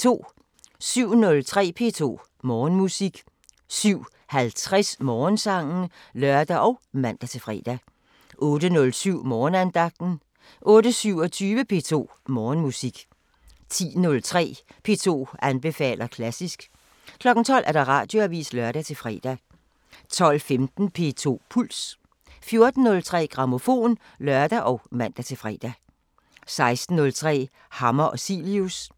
07:03: P2 Morgenmusik 07:50: Morgensangen (lør og man-fre) 08:07: Morgenandagten 08:27: P2 Morgenmusik 10:03: P2 anbefaler klassisk 12:00: Radioavisen (lør-fre) 12:15: P2 Puls 14:03: Grammofon (lør og man-fre) 16:03: Hammer og Cilius